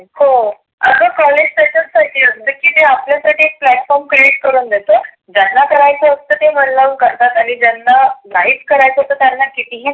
हो आग कॉलेज त्याच्याच साठी असतं. ते आपल्या साठी एक platform create करुण देतं ज्यांना करायच असत ते मन लावून करतात. आणि ज्यांन नाहीच करायच तर त्याना किती ही